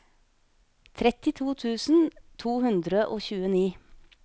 trettito tusen to hundre og tjueni